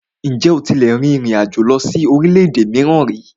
Ǹjẹ́ o tílẹ̀ tí rìn ìrin àjò lọ sí orílẹ̀-èdè mìíràn ríi?